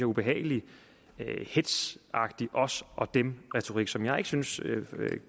ubehagelig hetzagtig os og dem retorik som jeg ikke synes